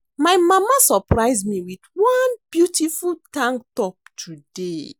My mama surprise me with one beautiful tank top today